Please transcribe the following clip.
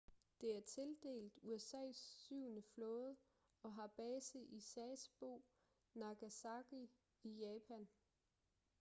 det er tildelt usas syvende flåde og har base i sasebo nagasaki i japan